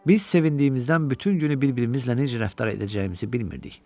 Biz sevindiyimizdən bütün günü bir-birimizlə necə rəftar edəcəyimizi bilmirdik.